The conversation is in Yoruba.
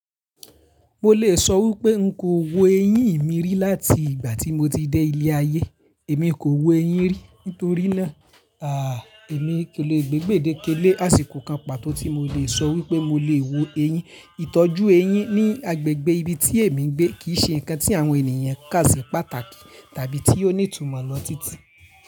Mo lè sọ wípé n kò wo eyín mi rí láti ìgbà tí mo ti dé ilé ayé. Èmi kò wo eyín rí nítorínà èmi ko lè gbé gbéde kélé àsìkò kan pàtó tí mo lè sọ wípé mo lè wo eyín. Ìtọ́jú eyín ní agbègbè ibi tí èmi gbé kìí ṣe nǹkan tí àwọn ènìyàn kà sí pàtàkì tàbí tí ó ní ìtumọ̀ lọ títí.